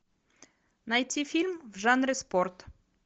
найти фильм в жанре спорт